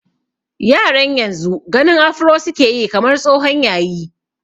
Yaran yanzu ganin afro su ke yi kamar tsohon yayi.